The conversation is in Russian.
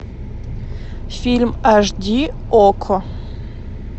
фильм аш ди окко